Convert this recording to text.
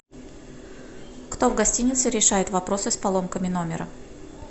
кто в гостинице решает вопросы с поломками номера